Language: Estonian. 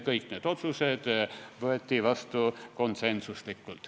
Kõik need otsused võeti vastu konsensusega.